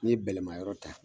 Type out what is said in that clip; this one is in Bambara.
Ni ye bɛlɛman yɔrɔ ta